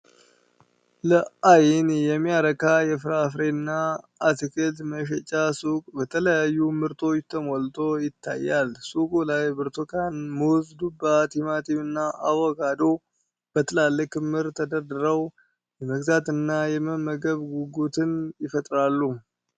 ለአይን የሚያረካ የፍራፍሬና አትክልት መሸጫ ሱቅ በተለያዩ ምርቶች ተሞልቶ ይታያል። ሱቁ ላይ ብርቱካን፣ ሙዝ፣ ዱባ፣ ቲማቲም እና አቮካዶ በትላልቅ ክምር ተደርድረው፣ የመግዛትና የመመገብ ጉጉትን ይፈጥራሉ።